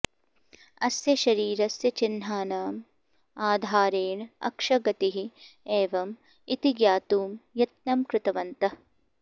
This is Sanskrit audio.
अस्य शरीरस्य चिह्नानाम् आधारेण अक्षगतिः एवम् इति ज्ञातुं यत्नं कृतवन्तः